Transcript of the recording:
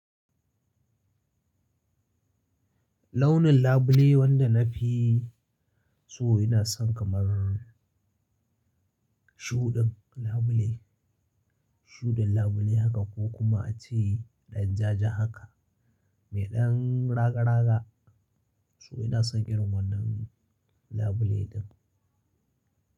Launin labule wanda nafi so ina son kamar shudin labule, shudin labule haka ko kuma a ce ɗan jaja haka. Mai ɗan raga raga so ina son irin wannan labule din.